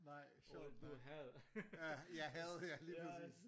Nej sjovt nok ja ja havde ja lige præcis!